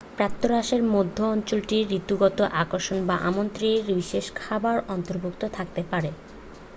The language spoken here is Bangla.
প্রাতঃরাশের মধ্যে অঞ্চলটির ঋতুগত আকর্ষণ বা আমন্ত্রয়ির বিশেষ খাবার অন্তর্ভুক্ত থাকতে পারে